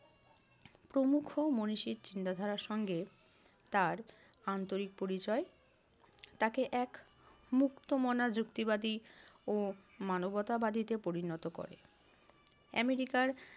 প্রমুখ মনীষীর চিন্তাধারার সঙ্গে তার আন্তরিক পরিচয়। তাকে এক মুক্তমনা যুক্তিবাদী ও মানবতাবাদীতে পরিণত করে। আমেরিকার